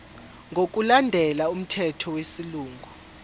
ngokulandela umthetho wesilungu